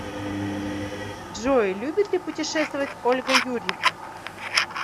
джой любит ли путешествовать ольга юрьевна